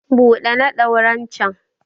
buɗe na ɗauren can!